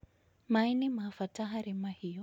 Maĩ nĩ ma bata harĩ mahiũ.